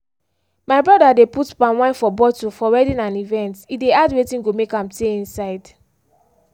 my brother de put palm wine for bottle for wedding and events he de add wetin go make am tey inside.